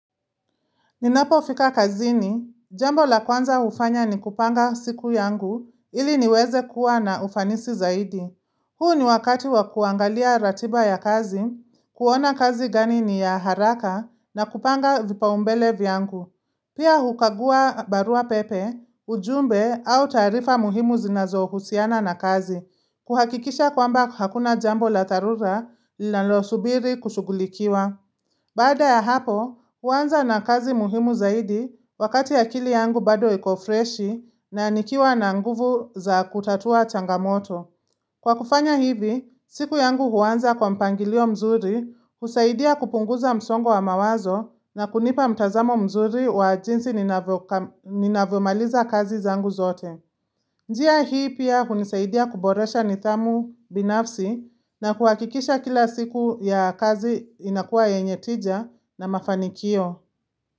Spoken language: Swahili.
Ninapofika kazini, jambo la kwanza hufanya ni kupanga siku yangu ili niweze kuwa na ufanisi zaidi. Huu ni wakati wa kuangalia ratiba ya kazi, kuona kazi gani ni ya haraka na kupanga vipaumbele vyangu. Pia hukagua barua pepe, ujumbe au tarifa muhimu zinazohusiana na kazi, kuhakikisha kwamba hakuna jambo la dharura linalosubiri kushugulikiwa. Baada ya hapo, huanza na kazi muhimu zaidi wakati ya kili yangu bado iko freshi na nikiwa na nguvu za kutatua changamoto. Kwa kufanya hivi, siku yangu huanza kwa mpangilio mzuri, husaidia kupunguza msongo wa mawazo na kunipa mtazamo mzuri wa jinsi ninavomaliza kazi zaangu zote. Njia hii pia kunisaidia kuboresha nithamu binafsi na kuakikisha kila siku ya kazi inakuwa yenye tija na mafanikio.